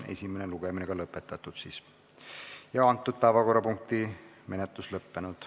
Esimene lugemine on lõpetatud ja päevakorrapunkti menetlus lõppenud.